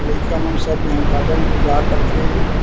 लइका मन सब इहा गार्डन म जा कर के--